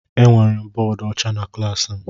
Enwere m bọọdụ ọcha na klaasị m.